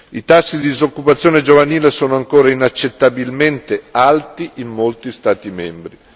I tassi di disoccupazione giovanile sono ancora inaccettabilmente alti in molti Stati membri.